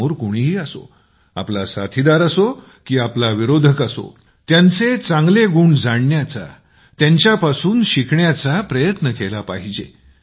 समोर कुणीही असो आपला साथीदार असो की आपला विरोधी गटातील असो त्याचे चांगले गुण जाणण्याची त्यांच्यापासून शिकण्याचा प्रयत्न केला पाहिजे